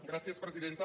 gràcies presidenta